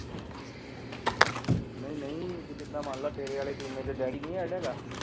ਨਹੀਂ ਨਹੀਂ ਵੀ ਜਿੱਦਾਂ ਮੰਨ ਲਾ ਤੇਰੇ ਵਾਲੇ ਬੀਮੇ ਚ ਡੈਡੀ ਨੀ ਹੈਗਾ ਗਾ।